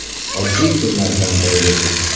Oddiy kunlardan biri edi.